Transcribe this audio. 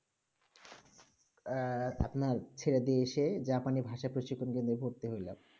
এর আপনার ছেড়ে দিয়েছি জাপানি ভাষা পুচি তে পড়তে ভর্তি হলাম